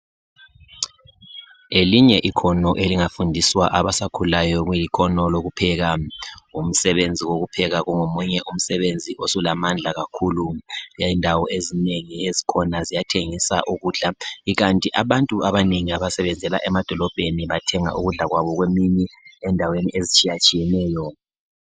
Ngelinye ikhono elingafundiswa abasakhulayo kuyikhono lokuphela. Umsebenzi wokupheka kungomunye umsebenzi osulamandla kakhulu. Indawo ezinengi ezikhona ziyathengisa ukudla kukanti abantu abanengi abasebenzela emadolobheni bathenga ukudla kwabo kwemini endaweni ezitshiyetshiyeneyo.